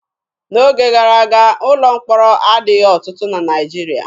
N'oge gara aga, ụlọ mkpọrọ adịghị ọtụtụ na Naịjirịa.